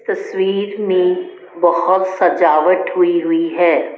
तस्वीर में बहोत सजावट हुई हुई है।